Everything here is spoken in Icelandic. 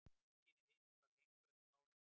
Einnig ef hitinn varir lengur en fáeina daga.